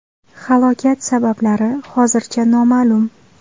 Halokat sabablari hozircha noma’lum.